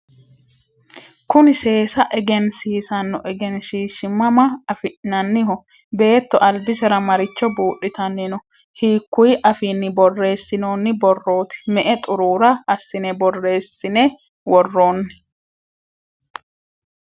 kuni seesa egensiisanno egenshiishshi mama afi'nanniho? beetto albisera maricho buudhitanni no? hiikkuyi afiinni borreessinoonni borrooti? me"e xuruura assine borreessine worroonni?